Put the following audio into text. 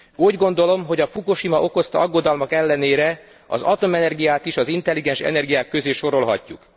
Úgy gondolom, hogy a Fukushima okozta aggodalmak ellenére az atomenergiát is az intelligens energiák közé sorolhatjuk.